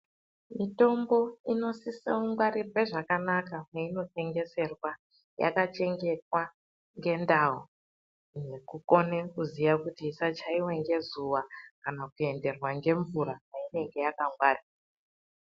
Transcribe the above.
Mitombo inosisa kungwarirwe zvakanaka meinotengeserwa. Yakachengetwa ngendau, nekukone kuziya kuti isachaiwa ngezuva kana kuenderwa ngemvura mainenge yakangwarirwa.